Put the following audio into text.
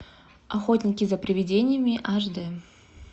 охотники за приведениями аш д